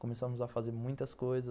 Começamos a fazer muitas coisas.